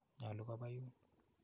Nyalu kopa yun.